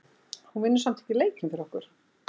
Hún vinnur samt ekki leikinn fyrir okkur.